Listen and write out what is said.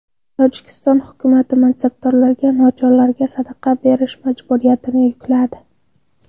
Tojikiston hukumati mansabdorlarga nochorlarga sadaqa berish majburiyatini yukladi.